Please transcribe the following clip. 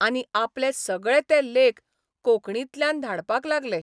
आनी आपले सगळे ते लेख कोंकर्णीतल्यान धाडपाक लागले.